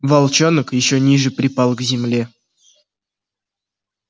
волчонок ещё ниже припал к земле